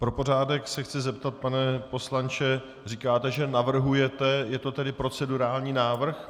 Pro pořádek se chci zeptat, pane poslanče - říkáte, že navrhujete, je to tedy procedurální návrh?